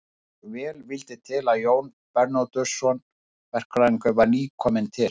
Svo vel vildi til að Jón Bernódusson verkfræðingur var nýkominn til